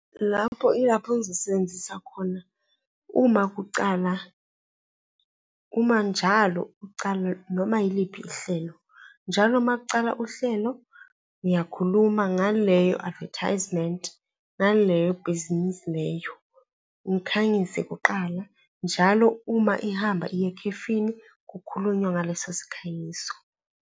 Lapho yilapho ngizosebenzisa khona uma kucala, uma njalo kucala noma yiliphi ihlelo, njalo uma kucala uhlelo ngiyakhuluma ngaleyo advertisement, ngaleyo bhizinisi leyo, ngikhanyise kuqala njalo uma ihamba iya ekhefini kukhulunywa ngaleso sikhanyiso.